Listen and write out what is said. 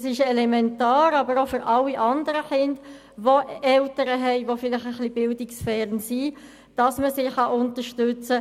Es ist aber auch für alle anderen Kinder mit etwas bildungsferneren Eltern elementar, unterstützt zu werden.